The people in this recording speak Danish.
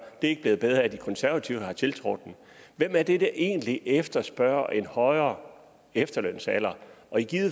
det er ikke blevet bedre af at de konservative har tiltrådt den hvem er det egentlig der efterspørger en højere efterlønsalder og i